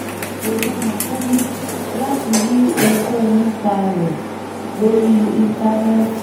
kò rọrùn fún mi láti rí ohunkóhun nípa rẹ̀ lórí íńtánẹ́ẹ̀tì